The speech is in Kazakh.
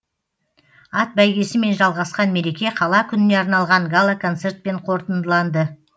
ат бәйгесімен жалғасқан мереке қала күніне арналған гала концертпен қорытындыланды